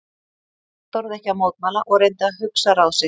Örn þorði ekki að mótmæla og reyndi að hugsa ráð sitt.